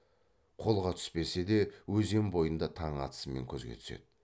қолға түспесе де өзен бойында таң атысымен көзге түседі